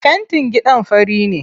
Fentin gidan fari ne.